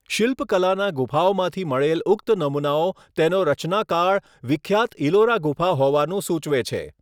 શિલ્પકલાના ગુફાઓમાંથી મળેલ ઉક્ત નમુનાઓ તેનો રચનાકાળ વિખ્યાત ઈલોરા ગુફા હોવાનું સુચવે છે.